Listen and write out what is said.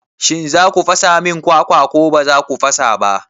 Shin za ku fasa min kwakwa ko ba za ku fasa ba?